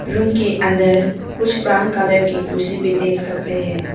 Room के अंदर कुछ ब्राऊन कलर के कुर्सी भी देख सकते हैं।